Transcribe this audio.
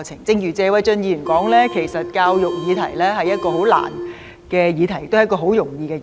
正如謝偉俊議員所說，其實教育議題是一項很難的議題，也是一項很容易的議題。